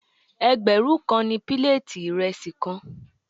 Ẹgbẹ̀rún kan ni píléètì ìrẹsì kan.